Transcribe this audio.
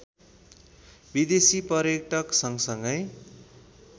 विदेशी पर्यटक सँगसँगै